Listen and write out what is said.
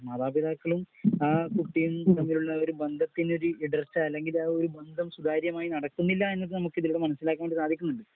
മാതാപിതാക്കളും ആ കുട്ടിയും തമ്മിലുള്ള ഒരു ബന്ധത്തില് ഉള്ള ഇടർച്ച അല്ലെങ്കിൽ ആ ഒരു ബന്ധം സുതാര്യമായി നടക്കുന്നില്ല എന്ന് നമുക്ക് ഇതിൽ നിന്നും മനസ്സിലാക്കാൻ സാധിക്കുന്നു.